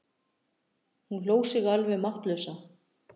Hún hló sig alveg máttlausa.